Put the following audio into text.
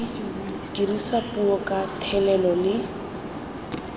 dirisa puo ka thelelo le